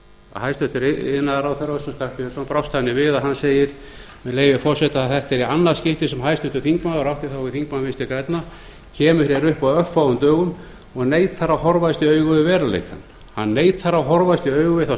að hæstvirtur iðnaðarráðherra össur skarphéðinsson brást þannig við að hann segir með leyfi forseta þetta er í annað skipti sem háttvirtur þingmaður og átti þá við þingmann vinstri grænna kemur hér upp á örfáum dögum og neitar að horfast í augu við veruleikann hann neitar að horfast í augu við þá